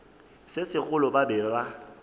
se segolo ba be ba